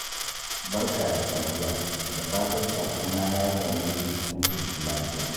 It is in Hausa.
Barka da safiya, da fatan saƙona ya same ki cikin ƙoshin lafiya